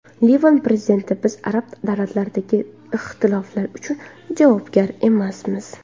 Livan prezidenti: Biz arab davlatlaridagi ixtiloflar uchun javobgar emasmiz.